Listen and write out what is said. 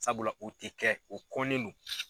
Sabula o tɛ kɛ o kɔnnen do.